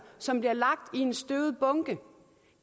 som bliver lagt i en støvet bunke